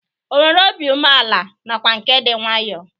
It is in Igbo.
Ọ nwere obi umeala nakwa nke dị nwaayọ?